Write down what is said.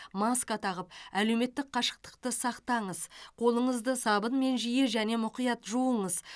маска тағып әлеуметтік қашықтықты сақтаңыз қолыңызды сабынмен жиі және мұқият жуыңыз